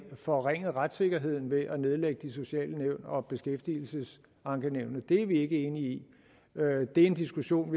forringet retssikkerheden ved at nedlægge de sociale nævn og beskæftigelsesankenævnet det er vi ikke enige i det er en diskussion